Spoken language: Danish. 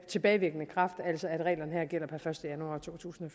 tilbagevirkende kraft altså at reglerne her gælder per første januar totusinde